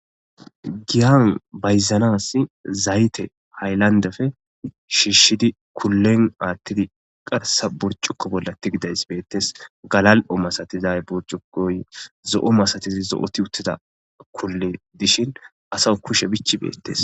giyan bayzanass zayte hayllandefe shiishshidi kullen aattidi qarsa burcukko bolla tigidays beettes galal7o masatiza burjukoy zo7o masatizi zo7oti uttida kulli dishin asa kushe bichi beettes